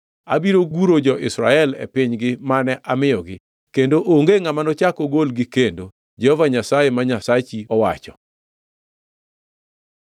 Abiro guro jo-Israel e pinygi mane amiyogi, kendo onge ngʼama nochak ogolgi kendo,” Jehova Nyasaye ma Nyasachi owacho.